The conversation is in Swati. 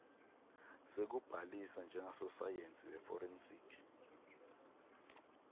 sekubhalisa njengasosayensi weforensic